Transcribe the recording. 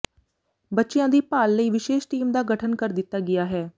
ਬੱਚਿਆਂ ਦੀ ਭਾਲ ਲਈ ਵਿਸ਼ੇਸ਼ ਟੀਮ ਦਾ ਗਠਨ ਕਰ ਦਿੱਤਾ ਗਿਆ ਹੈ